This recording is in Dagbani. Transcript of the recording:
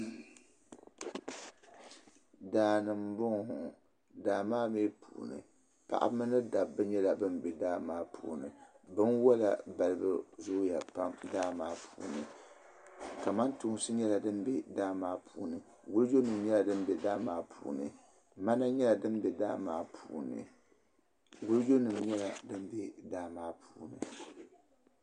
Daa ni mbɔŋɔ ŋɔ daa maa mi puuni paɣiba mini Dabba nyɛla bambɛ daa maa puuni bin wola balibu zooya pam daa maa puuni tamantoosi nyɛla din bɛ daa maa puuni wulijo nim nyɛla dimbɛ daamata puuni ŋmana bɛ daa maa puuni wulijo nim nyɛla din bɛ daa maa puu.